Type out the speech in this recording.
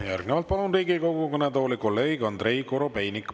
Järgnevalt palun Riigikogu kõnetooli kolleeg Andrei Korobeiniku.